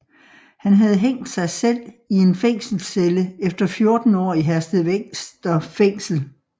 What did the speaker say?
Han havde hængt sig selv i en fængselscelle efter 14 år i Herstedvester Fængsel